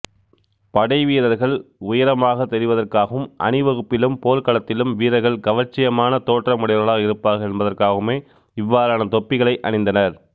படை வீரர்கள் உயரமாகத் தெரிவதற்காகவும் அணிவகுப்பிலும் போர்க்களத்திலும் வீரர்கள் கவர்ச்சியான தோற்றம் உடையவர்களாக இருப்பார்கள் என்பதற்காகவுமே இவ்வாறான தொப்பிகளை அணிந்தனர்